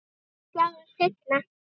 Sjáumst seinna.